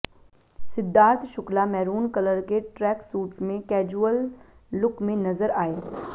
Siddharth Shukla maroon colour के tracksuit में casual look में नज़र आए